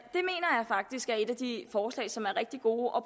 faktisk er et af de forslag som er rigtig gode og